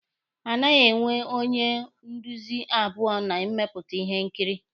A naghị enwe onye nduzi abụọ na mmepụta ihe nkiri